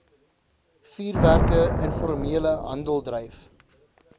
vuurwerke informele handeldryf